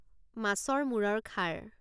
মাছৰ মূৰৰ খাৰ